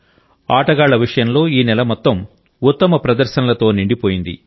ఆటగాళ్ల విషయంలో ఈ నెల మొత్తం ఉత్తమ ప్రదర్శనలతో నిండిపోయింది